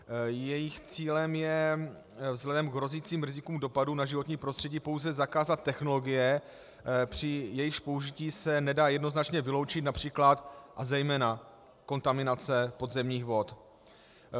Jejich cílem je vzhledem k hrozícím rizikům dopadů na životní prostředí pouze zakázat technologie, při jejichž použití se nedá jednoznačně vyloučit například a zejména kontaminace podzemních vod.